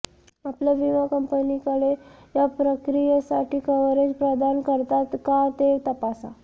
आपल्या विमा कंपनीकडे या प्रक्रियेसाठी कव्हरेज प्रदान करतात का ते तपासा